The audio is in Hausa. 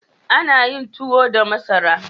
Ana yin tuwo da masara.